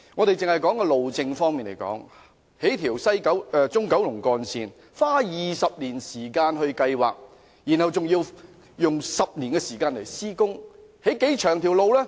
單以路政方面來說，興建一條中九龍幹線也要花20年時間計劃，然後再要用10年時間施工，興建多長的路呢？